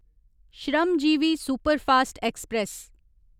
Shramjeevi superfast express